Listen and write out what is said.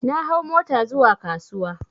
Na hau mota zuwa kasuwa